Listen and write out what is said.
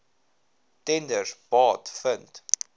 tenders baat vind